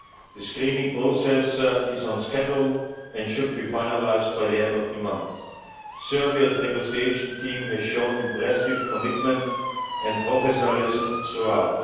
The screening process is on schedule and should be finalised by the end of the month. Serbia's negotiation team has shown impressive commitment and professionalism throughout.